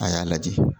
A y'a lajɛ